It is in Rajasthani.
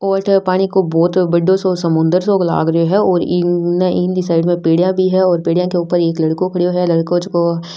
ओ अठे पानी को बहुत बड़ो साे समुद्र सो लाग रियो है और इंक इने साइड मा पेडिया भी है और पेडिया के ऊपर एक लड़को खड़यो है लड़को जको --